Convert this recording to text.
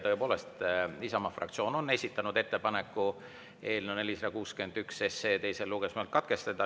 Tõepoolest, Isamaa fraktsioon on esitanud ettepaneku eelnõu 461 teine lugemine katkestada.